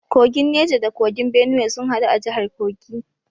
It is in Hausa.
Kogin Neja da Kogin Benue sun hadu a jihar Kogi.